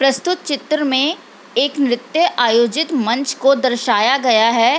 प्रस्तुत चित्र में एक नृत्य आयोजित मंच को दर्शाया गया है।